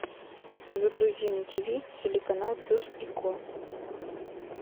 загрузи на тиви телеканал пес и ко